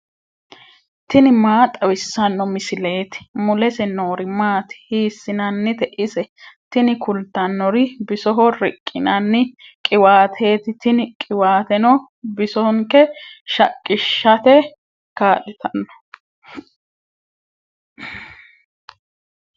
tini maa xawissanno misileeti ? mulese noori maati ? hiissinannite ise ? tini kultannori bisoho riqqinanni qiwaateeti. tini qiwaateno bisonke shaqqishate kaa'litanno.